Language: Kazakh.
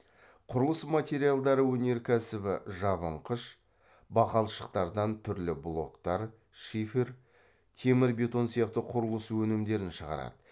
құрылыс материалдары өнеркәсібі жабынқыш бақалшықтардан түрлі блоктар шифер темір бетон сияқты құрылыс өнімдерін шығарады